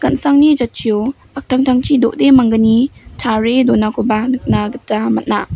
jatchio paktangtangchi do·de manggni tarie donakoba nikna gita man·a.